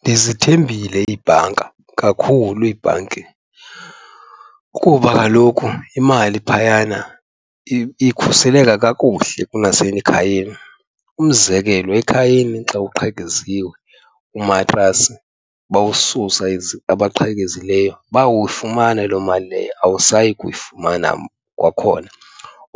Ndizithembile ibhanka, kakhulu ibhanki kuba kaloku imali phayana ikhuseleka kakuhle kunasemakhayeni. Umzekelo ekhayeni xa kuqhekeziwe umatrasi bawususa abaqhelekileyo bawuyifumana loo mali leyo, awusayi kuyifumana kwakhona.